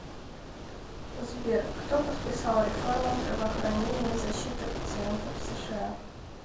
сбер кто подписал реформа здравоохранения и защиты пациентов в сша